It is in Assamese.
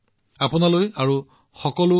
মই আপোনাক শুভকামনা জনাইছো